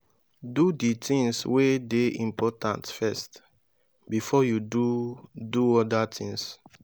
do di things wey de important first before you do do other things